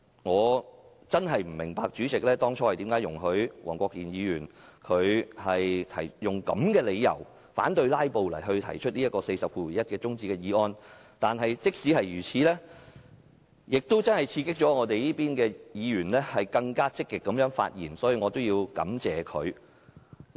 我真的不明白，主席為何會容許黃國健議員以反"拉布"為由，根據《議事規則》第401條動議中止待續議案。這也刺激民主派議員更積極發言，所以我要感謝他。